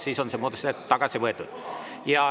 Siis oleks see muudatusettepanek tagasi võetud.